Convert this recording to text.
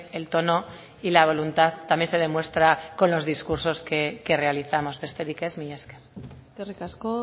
el tono y la voluntad también se demuestra con los discursos que realizamos besterik ez mila esker eskerrik asko